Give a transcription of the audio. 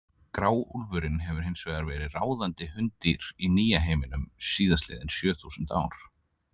Gráúlfurinn hefur hins vegar verið ráðandi hunddýr í nýja-heiminum síðastliðin sjö þúsund ár.